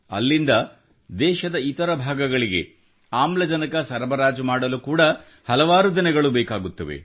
ಅಲ್ಲಿಂದ ದೇಶದ ಇತರ ಭಾಗಗಳಿಗೆ ಆಮ್ಲಜನಕ ಸರಬರಾಜು ಮಾಡಲು ಕೂಡ ಹಲವು ದಿನಗಳು ಬೇಕಾಗುತ್ತವೆ